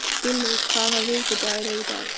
Gulli, hvaða vikudagur er í dag?